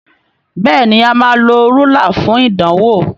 Béèni a má ló Rúlà fún ìdánwò.